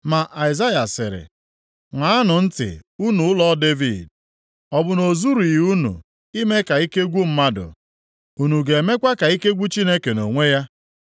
Ma Aịzaya sịrị, “Ṅaanụ ntị unu ụlọ Devid. Ọ bụ na o zurughị unu ime ka ike gwụ mmadụ? Unu ga-emekwa ka ike gwụ Chineke nʼonwe ya?